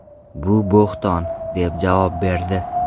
Bu bo‘hton” deb javob berdi.